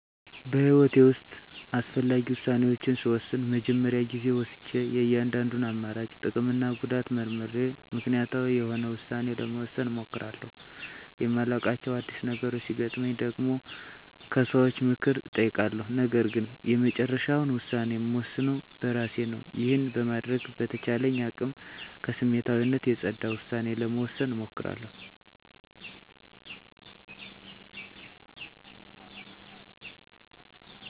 በህይወቴ ውስጥ አስፈላጊ ውሳኔዎችን ስወስን መጀመሪያ ጊዜ ወስጀ የእያንዳንዱን አማራጭ ጥቅምና ጉዳት መርምሬ ምክንያታዊ የሆነ ውሳኔ ለመወሰን እሞክራለሁ። የማላዉቃቸው አዲስ ነገሮች ሲገጥመኝ ደግሞ ከሰዎች ምክር እጠይቃለሁ ነገርግን የመጨረሻውን ውሳኔ እምወስነው በእራሴ ነው። ይህንን በማድረግ በተቻለኝ አቅም ከስሜታዊነት የፀዳ ዉሳኔ ለመወሰን እሞክራለሁ።